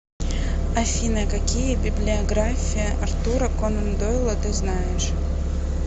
афина какие библиография артура конан дойла ты знаешь